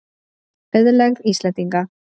Auðlegð Íslendinga.